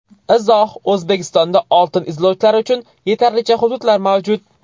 Izoh: O‘zbekistonda oltin izlovchilar uchun yetarlicha hududlar mavjud.